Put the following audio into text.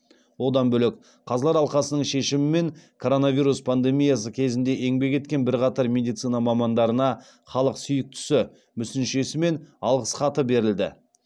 одан бөлек қазылар алқасының шешімімен коронавирус пандемиясы кезінде еңбек еткен бірқатар медицина мамандарына халық сүйіктісі мүсіншесі мен алғыс хаты берілді